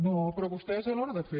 no però vostès a l’hora de fer